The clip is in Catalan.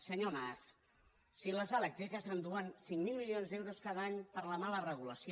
senyor mas si les elèctriques s’enduen cinc mil milions d’euros cada any per la mala regulació